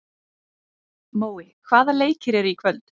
Mói, hvaða leikir eru í kvöld?